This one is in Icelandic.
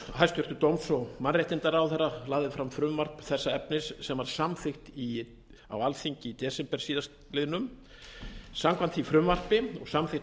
hæstvirtur dómsmála og mannréttindaráðherra lagði fram frumvarp þessa efnis sem var samþykkt á alþingi í desember síðastliðnum samkvæmt því frumvarpi og samþykkt